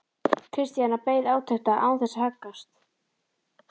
Christian beið átekta án þess að haggast.